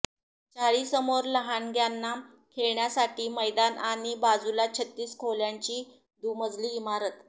चाळीसमोर लहानग्यांना खेळण्यासाठी मैदान आणि बाजूला छत्तीस खोल्यांची दुमजली इमारत